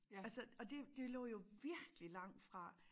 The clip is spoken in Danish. Altså og det det lå jo virkelig langt fra